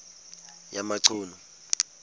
yamachunu